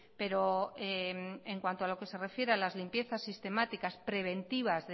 pero en cuanto a lo que se refiere a las limpiezas sistemáticas preventivas